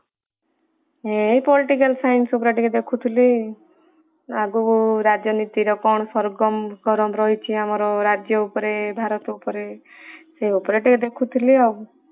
ଏ political science ଉପରେ ଟିକେ ଦେଖୁଥିଲି, ଆଗକୁ ରାଜନୀତିର କଣ ସର୍ଗମ ରହିଛି ଆମର ରାଜ୍ୟ ଉପରେ, ଭାରତ ଉପରେ ସେ ଉପରେ ଟିକେ ଦେଖୁଥିଲି ଆଉ।